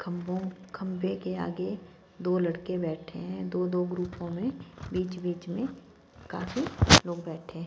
खंभों खंभे के आगे दो लड़के बैठे हैं दो दो ग्रुपों में बीच बीच में काफी लोग बैठे हैं।